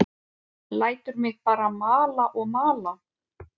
Lætur mig bara mala og mala.